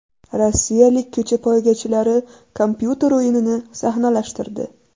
Rossiyalik ko‘cha poygachilari kompyuter o‘yinini sahnalashtirdi .